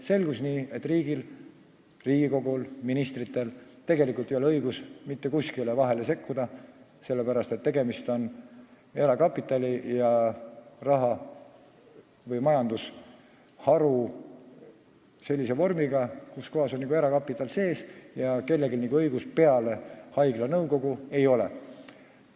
Selgus, et riigil, Riigikogul ja ministritel, tegelikult ei ole õigust mitte kuskile sekkuda, sest tegemist on erakapitali ja -rahaga või sellise majandusharuga, kus juba on erakapital sees ja kellelgi peale haigla nõukogu seal seda õigust ei ole.